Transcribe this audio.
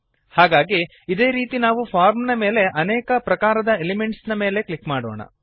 ಹಾಗಾಗಿ ಅದೇ ರೀತಿ ನಾವು ಫಾರ್ಮ್ ನ ಮೇಲೆ ಅನೇಕ ಪ್ರಕಾರದ ಎಲಿಮೆಂಟ್ಸ್ ಮೇಲೆ ಕ್ಲಿಕ್ ಮಾಡೋಣ